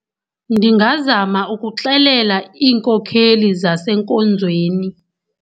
Ndingazama ukuxelela iinkokheli zasenkonzweni.